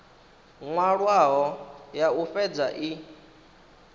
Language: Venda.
nwalwaho ya u fhedza i